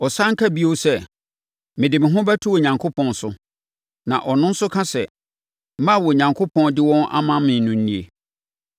Ɔsane ka bio sɛ, “Mede me ho bɛto Onyankopɔn so.” Na ɔno nso ka sɛ, “Mma a Onyankopɔn de wɔn ama me no nie.”